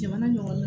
Jamana ɲɛmɔgɔ